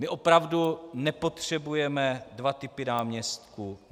My opravdu nepotřebujeme dva typy náměstků.